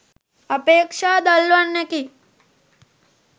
අපේක්ෂා දල්වන්නකි